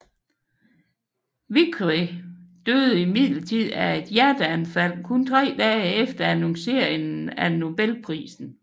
Vickrey døde imidlertid af et hjerteanfald kun tre dage efter annonceringen af Nobelprisen